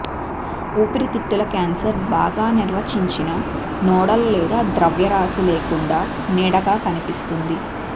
ఊపిరితిత్తుల క్యాన్సర్ బాగా నిర్వచించిన నోడల్ లేదా ద్రవ్యరాశి లేకుండా నీడగా కనిపిస్తుంది